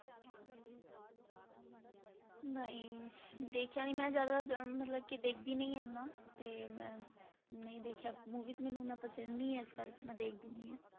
ਨਹੀਂ ਦੇਖਿਆ ਨੀ ਮੈਂ ਜ਼ਿਆਦਾ ਮਤਲਬ ਕਿ ਦੇਖਦੀ ਨਹੀਂ ਆ ਨਾ ਤੇ ਮੈਂ ਨਹੀਂ ਦੇਖਿਆ movie ਮੈਨੂੰ ਇੰਨਾ ਪਸੰਦ ਨਹੀਂ ਆ ਇਸ ਕਰਕੇ ਮੈਂ ਦੇਖਦੀ ਨਹੀਂ ਆ।